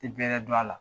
Tɛ bɛrɛ dɔn a la